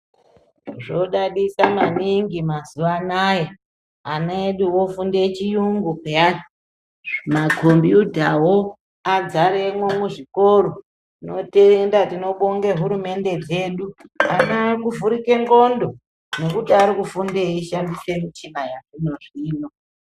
Zvinodadisa maningi mazuwa ano aya. Ana edu ofunda chiyungu peyanu., nemakhombudhawo adzaremwo muzvikora. Tinotenda, tinobonga hurumende dzedu, Ana akuvhurike ndhlondo nekuti arikufunda eishandisa michina yazvinozvino.